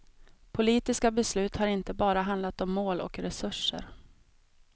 Politiska beslut har inte bara handlat om mål och resurser.